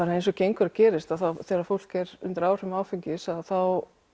eins og gengur og gerist þegar fólk er undir áhrifum áfengis að þá